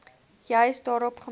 juis daarop gemik